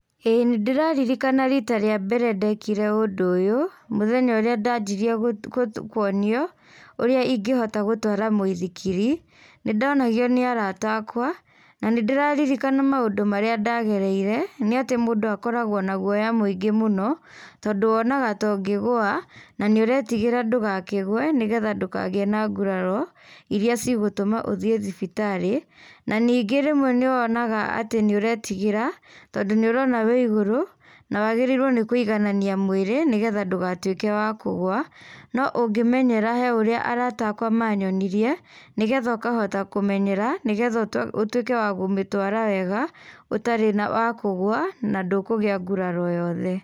Ĩĩ nĩ ndĩraririkana rita rĩa mbere ndekire ũndũ ũyũ mthenya ũria ndajirie kuonio ũrĩa ĩngĩhota gũtwarĩthia mwĩthĩkiri ,nĩ ndonagio nĩ arata akwa na nĩ ndĩraririkana maũndũ marĩa ndagereire nĩ atĩ mũndũ akoragwo na gũoya mwĩngĩ mũno tondũ wonaga ta ũngĩgũa na ũretĩgĩra ndũkakĩgwe nĩgetha ndũkagĩgũe na gũraro ĩrĩa cigũtuma ũthiĩ thibitari, na ningĩ rĩmwe nĩ wonaga atĩ nĩ ũretigĩra tondũ nĩ ũrona wĩ ĩgũru na wagĩrĩirwo nĩ kũiganania mwĩrĩ negetha ndũgatuike wa kũgũa no ũngĩmenyera he ũrĩa arata akwa manyonirie nĩgetha ũkahota kũmenyera nĩgetha ũtwĩke wa kũmĩtwara wega ũtarĩ wa kũgũa na ndũkũgia gũraro o yothe.